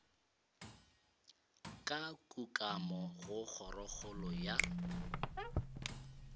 ka kukamo go kgorokgolo ya